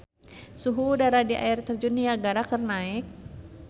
Suhu udara di Air Terjun Niagara keur naek